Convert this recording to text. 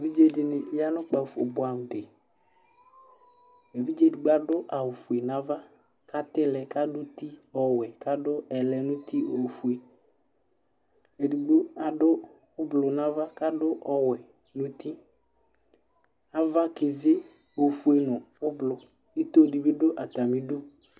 ʋvidi yanʋ kpaƒɔ bʋamʋ li, ɛvidzɛ ɛdigbɔ adʋ awʋ ƒʋɛ nʋ aɣa kʋ atilɛ kʋ adʋ ʋti ɔwɛ kʋ adʋ ɛlɛ nʋti ɔƒʋɛ, ɛdigbɔ adʋ ɔblɔ nʋ aɣa kʋ adʋ ɔwɛ nʋti, aɣa kɛzi ɔƒʋɛ nʋ ɔblɔ, itɔ dibi dʋ atami idʋ